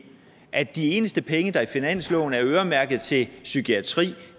at de eneste penge der i finansloven er øremærket til psykiatri